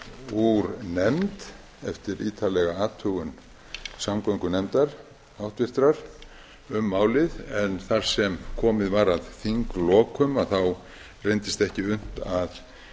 úr nefnd eftir ítarlega athugun háttvirtrar samgöngunefndar um málið en þar sem komið var að þinglokum þá reyndist ekki unnt að